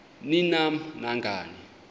ni nam nangani